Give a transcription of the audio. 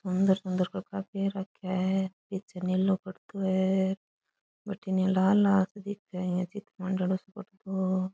सुन्दर सुन्दर कपडा पहर राखिया है पीछे नीलो कुर्तो है बठीने लाल लाल दिखे है यान चित्र माँड्योडो सो कुर्तो --